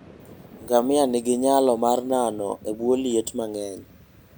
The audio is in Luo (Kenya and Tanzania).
Ngamia nigi nyalo mar nano e bwo liet mang'eny.